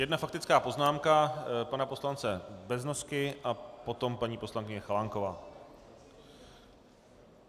Jedna faktická poznámka pana poslance Beznosky a potom paní poslankyně Chalánková.